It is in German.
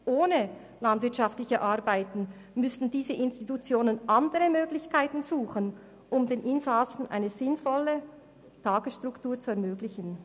Ohne landwirtschaftliche Arbeiten müssten diese Institutionen andere Möglichkeiten suchen, um den Insassen eine sinnvolle Tagesstruktur zu ermöglichen.